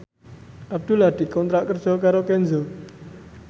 Abdullah dikontrak kerja karo Kenzo